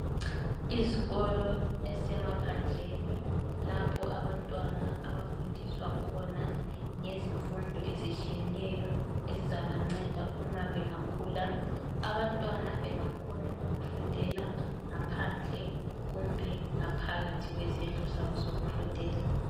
Izikolo ezisemaphandleni lapho abantwana abafundiswa khona ngezifundo ezitshiyeneyo ezizabanceda bengakhula. Abantwana bayenelisa ukufundela ngaphandle kumbe ngaphakathi kwezindlu zabo zokufundela.